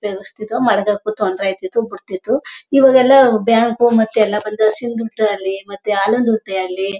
ಉಪಯೋಗ್ತಿದೋ ಮಾಡಗೊಕು ತೊಂದರೆ ಆಗ್ತಾ ಇತ್ತು ಬುಡತ್ತಿತು. ಇವಗೆಲ್ಲ್ ಬ್ಯಾಂಕ್ ಮತ್ತೂ ಎಲ್ಲಾ ಬಂದದೆ ದುಡ್ಡೇ ಆಗ್ಲಿ ಮತ್ತೇ ಹಾಲಿದ್ ದುಡ್ಡೇ ಆಗ್ಲಿ--